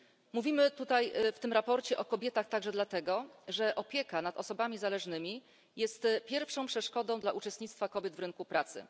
Mówimy tutaj, w tym sprawozdaniu o kobietach także dlatego, że opieka nad osobami zależnymi jest pierwszą przeszkodą w udziale kobiet w rynku pracy.